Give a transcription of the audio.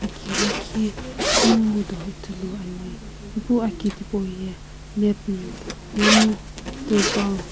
ki lakhi kunguudo ithuluani ipu aki tipauye net mm momu turpal .